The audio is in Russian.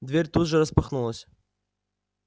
дверь тут же распахнулась